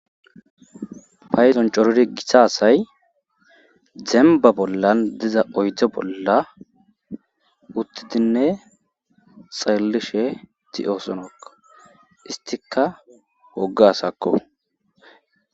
Payzon coriri giha asay zemba bollan diza oydze bolla uttidinne xallishe tioosonokko istika woggasakko.